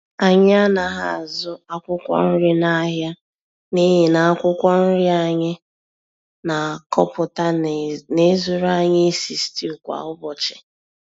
Anyị anaghị azụ akwụkwọ nri n'ahịa n'ihi na akwụkwọ nri anyị na-akọpụta na-ezuru anyị isi stew kwá ụbọchị